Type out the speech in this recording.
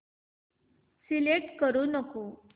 select करू नको